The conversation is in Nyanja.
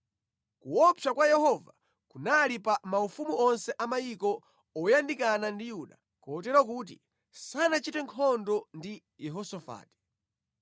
Kuopsa kwa Yehova kunali pa maufumu onse a mayiko oyandikana ndi Yuda, kotero kuti sanachite nkhondo ndi Yehosafati.